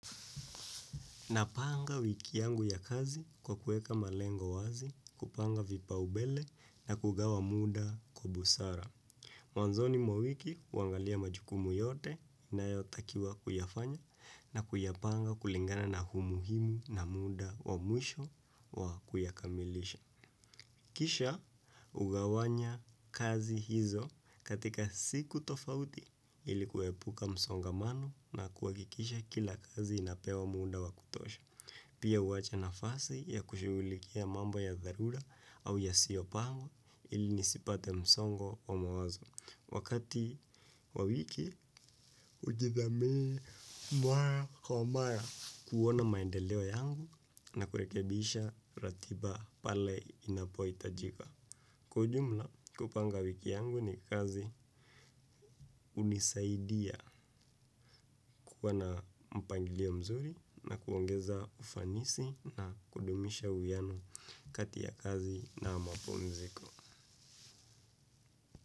Napanga wiki yangu ya kazi kwa kuweka malengo wazi, kupanga vipa umbele na kugawa muda kwa busara. Mwanzoni mwa mwiki huangalia majukumu yote ninayo takiwa kuyafanya na kuyapanga kulingana na umuhimu na muda wa mwisho wa kuyakamilisha. Kisha hugawanya kazi hizo katika siku tofauti ili kuepuka msongamano na kuhakikisha kila kazi inapewa muda wa kutosha. Pia huwacha nafasi ya kushughulikia mambo ya dharura au yasiyofaa ili nisipate msongo wa mawazo. Wakati kwa wiki hujithamini mara kwa mara kuona maendeleo yao na kurekebisha ratiba pale inapohitajika. Kwa ujumla hupanga wiki yangu na kazi hunisaidia kuwa na mpangilio mzuri na kuongeza ufanisi na kudumisha uwiano kati ya kazi na mapumziko.